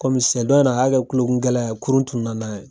Kɔmi seɲɛn dɔ in na a y'a kɛ kulokungɛlɛya ye kurun tunnuna n'an ye.